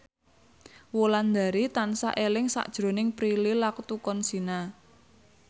Wulandari tansah eling sakjroning Prilly Latuconsina